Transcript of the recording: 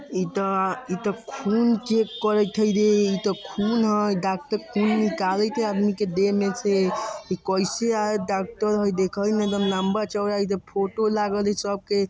ईता इता खून चेक करत हय रे। ई ता खून हडॉक्टर खून निकालत हई आदमी के देह में से। ई कैसे आय डॉक्टर देखई में एक दम लंबा चौड़ा ईता फोटो लागल हई सब के --